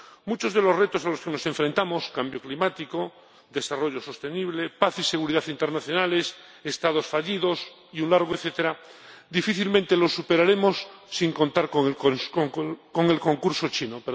Muchos de los retos a los que nos enfrentamos —cambio climático, desarrollo sostenible, paz y seguridad internacionales, Estados fallidos y un largo etcétera— difícilmente los superaremos sin contar con el concurso chino.